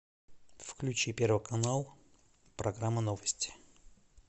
включи первый канал программа новости